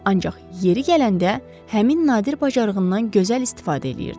Ancaq yeri gələndə həmin nadir bacarığından gözəl istifadə eləyirdi.